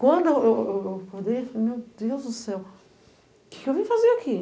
Quando eu eu eu eu acordei, eu falei, meu Deus do céu, o que que eu vim fazer aqui?